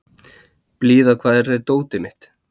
Blíða, hvar er dótið mitt?